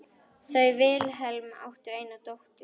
Þau Vilhelm áttu eina dóttur.